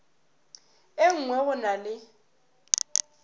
e nngwe go na le